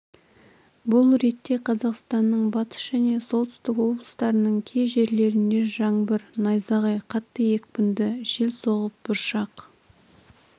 бұл ретте қазақстанның батыс және солтүстік облыстарының кей жерлерінде жаңбыр найзағай қатты екпінді жел соғып бұршақ